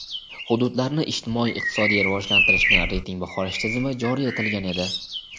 hududlarni ijtimoiy-iqtisodiy rivojlantirishni reyting baholash tizimi joriy etilgan edi.